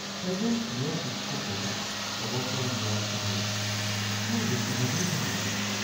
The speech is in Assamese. এজন প্ৰিয় শিক্ষকে অৱসৰ লোৱাৰ সময়ত আমাৰ বেছিভাগেই কান্দিছিল।